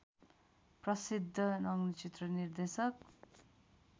प्रसिद्ध नग्नचित्र निर्देशक